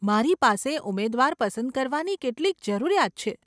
મારી પાસે ઉમેદવાર પસંદ કરવાની કેટલીક જરૂરિયાત છે.